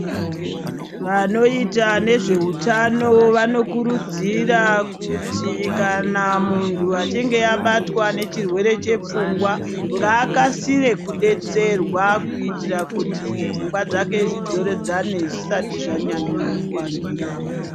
Vanoita nezveutano vanokurudzira kuti kanamuntu achinge abatwa nechirwere chepfungwa, ngaakasire kudetserwa kuitira kuti pfungwa dzake dzidzoredzane zvishati zvanyanya kuangira.